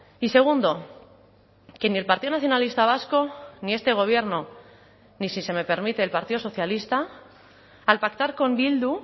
y segundo que ni el partido nacionalista vasco ni este gobierno ni si se me permite el partido socialista al pactar con bildu